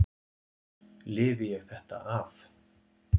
Lifi ég þetta af?